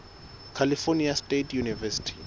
california state university